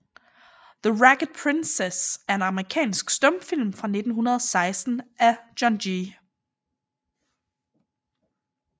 The Ragged Princess er en amerikansk stumfilm fra 1916 af John G